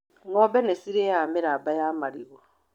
Ng'ombe nĩ cirĩaga mĩramba ya marigũ.